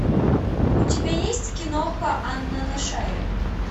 у тебя есть киноха анна на шее